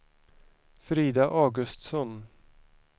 Frida Augustsson